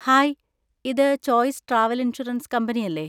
Hi, ഇത് choice travel insurance കമ്പനിയല്ലേ?